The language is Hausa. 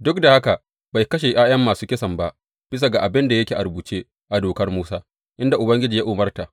Duk da haka bai kashe ’ya’yan masu kisan ba, bisa ga abin da yake a rubuce a Dokar Musa inda Ubangiji ya umarta,